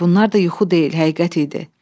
Bunlar da yuxu deyil, həqiqət idi.